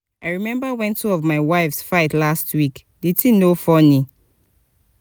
i remember wen two of my wives fight last week the thing no funny